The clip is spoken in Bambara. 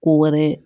Ko wɛrɛ